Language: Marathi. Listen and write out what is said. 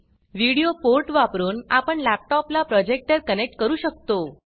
व्हिडिओ पोर्ट वापरून आपण लॅपटॉप ला प्रोजेक्टर कनेक्ट करू शकतो